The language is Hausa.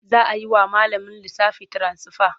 Za a yi wa malamin lissafi tiransifa.